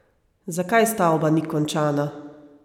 Zakaj stavba ni končana?